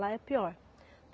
Lá é pior.